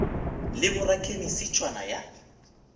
le bo rakhemise tšhwana ya